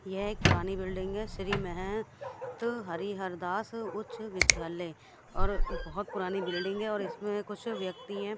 यह एक पुरानी बिल्डिंग है श्री मेह त हरिहर दास उच्च विद्यालय और बहुत पुरानी बिल्डिंग है और इसमें कुछ व्यक्ति हैं।